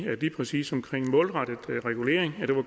præcis omkring målrettet regulering